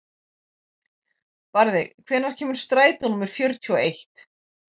Barði, hvenær kemur strætó númer fjörutíu og eitt?